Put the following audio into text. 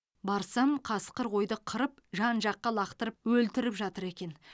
барсам қасқыр қойды қырып жан жаққа лақтырып өлтіріп жатыр екен